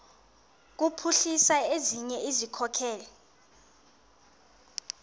kuphuhlisa ezinye izikhokelo